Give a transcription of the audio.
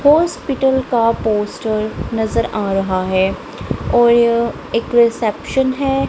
Hospital का poster नजर आ रहा हैं और यह एक रिसेप्शन हैं।